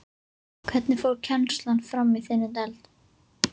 Hvernig fór kennslan fram í þinni deild?